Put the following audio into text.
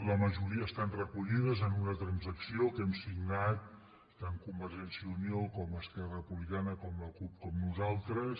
la majoria estan recollides en una transacció que hem signat tant convergència i unió com esquerra repu·blicana com la cup com nosaltres